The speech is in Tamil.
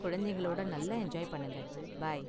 குழந்தைகளோட நல்லா என்ஜாய் பண்ணுங்க, பாய் .